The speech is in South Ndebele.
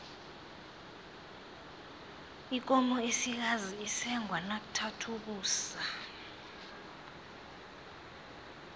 ikomo esikazi isengwa nakuthatha ukusa